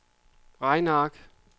regneark